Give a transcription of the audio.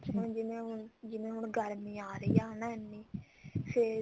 ਹੁਣ ਜਿਵੇਂ ਹੁਣ ਜਿਵੇਂ ਗਰਮੀ ਆ ਰਹੀ ਆ ਹਨਾ ਇੰਨੀ ਫ਼ੇਰ